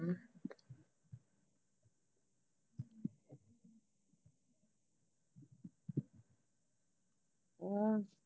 ਹਮ